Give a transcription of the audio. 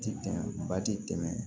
Ti tɛmɛ ba ti tɛmɛ